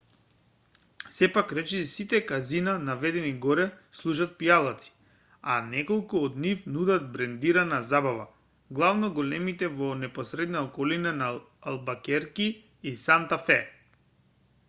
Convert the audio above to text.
сепак речиси сите казина наведени горе служат пијалаци а неколку од нив нудат брендирана забава главно големите во непосредната околина на албакерки и санта фе